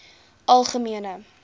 algemene